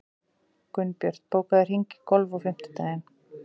Gunnbjört, bókaðu hring í golf á fimmtudaginn.